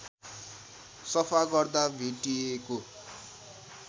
सफा गर्दा भेटिएको